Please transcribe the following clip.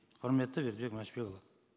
құрметті бердібек мәшбекұлы